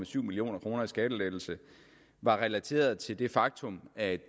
to million kroner i skattelettelse er relateret til det faktum at